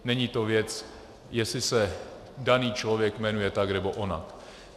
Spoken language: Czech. Není to věc, jestli se daný člověk jmenuje tak nebo onak.